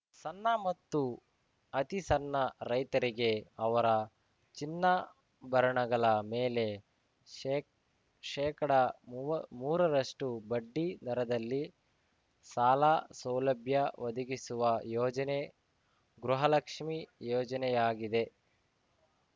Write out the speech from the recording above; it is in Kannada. ಸಣ್ಣ ಮತ್ತು ಅತಿಸಣ್ಣ ರೈತರಿಗೆ ಅವರ ಚಿನ್ನಾಭರಣಗಳ ಮೇಲೆ ಶೇಶೇಕಡ ಮುವ್ ಮೂರರಷ್ಟು ಬಡ್ಡಿ ದರದಲ್ಲಿ ಸಾಲ ಸೌಲಭ್ಯ ಒದಗಿಸುವ ಯೋಜನೆ ಗೃಹಲಕ್ಷ್ಮಿ ಯೋಜನೆಯಾಗಿದೆ